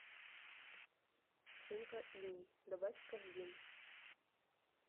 шинка иней добавь в корзину